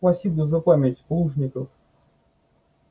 спасибо за память плужников